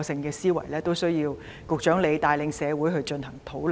這實在需要局長帶領社會進行討論。